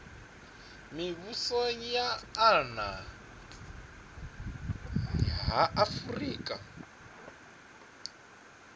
mivhuso ya nna ha afurika